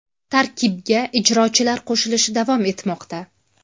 Tarkibga ijrochilar qo‘shilishi davom etmoqda.